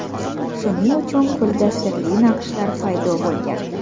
Shuning uchun ko‘lda sirli naqshlar paydo bo‘lgan.